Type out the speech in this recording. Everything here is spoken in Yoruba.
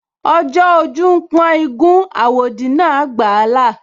Ọjọ́ ojú ń pọ́n igún, àwòdì náà gbà á là